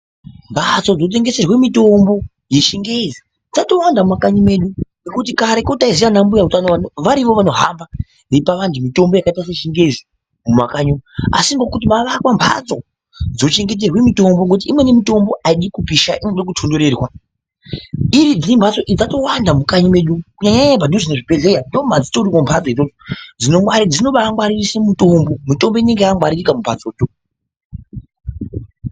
Mbatso dzinotengeserwe mitombo dzechingezi dzatowanda mumakanyi medu ngekuti kareko taiziya ana mbuya utano varivo vanohamba veipa anhu mitombo yechingezi mumakanyi umo asi ngokuti mavakwa mbatso dzochengeterwe mitombo ngokuti imweni mitombo aidi kupisha inoda kutonhorerwa iridhi mbatso idzo dzatowanda mukanyi medu kunyanya padhuze nezvibhedhlera ndomadzitori mbatso idzodzo dzinobagwaririse mutombo, mutombo inenge yakangwaririka mumbatsodzo.